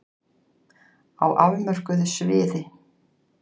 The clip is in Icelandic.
Á afmörkuðu sviði.